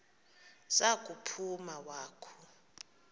za kuphuma wakhu